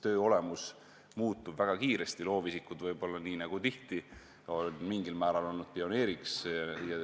Töö olemus muutub väga kiiresti ja loovisikud võib-olla on nii nagu mitmes muuski vallas mingil määral pioneeriks.